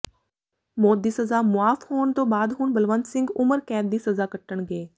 ਮੌਤ ਦੀ ਸਜ਼ਾ ਮੁਆਫ ਹੋਣ ਤੋਂ ਬਾਅਦ ਹੁਣ ਬਲਵੰਤ ਸਿੰਘ ਉਮਰ ਕੈਦ ਦੀ ਸਜ਼ਾ ਕੱਟਣਗੇ